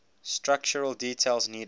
structural details needed